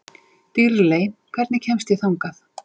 Dýrley, hvernig kemst ég þangað?